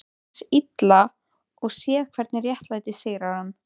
Hins Illa og séð hvernig réttlætið sigrar hann.